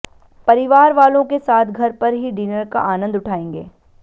परिवार वालों के साथ घर पर ही डिनर का आनंद उठायेंगे